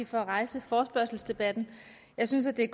for at rejse forespørgselsdebatten jeg synes det